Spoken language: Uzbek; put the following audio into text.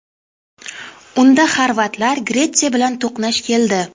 Unda Xorvatlar Gretsiya bilan to‘qnash keldi.